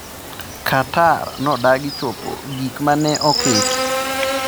Qatar nodagi chopo gik ma ne oket